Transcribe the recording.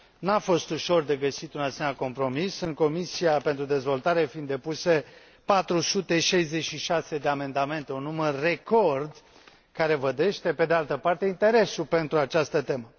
Nu a fost ușor de găsit un asemenea compromis, în Comisia pentru dezvoltare fiind depuse 466 de amendamente, un număr record care vădește, pe de altă parte, interesul pentru această temă.